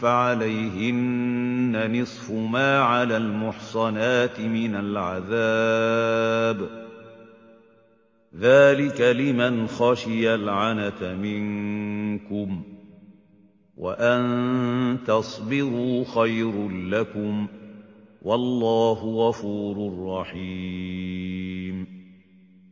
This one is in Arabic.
فَعَلَيْهِنَّ نِصْفُ مَا عَلَى الْمُحْصَنَاتِ مِنَ الْعَذَابِ ۚ ذَٰلِكَ لِمَنْ خَشِيَ الْعَنَتَ مِنكُمْ ۚ وَأَن تَصْبِرُوا خَيْرٌ لَّكُمْ ۗ وَاللَّهُ غَفُورٌ رَّحِيمٌ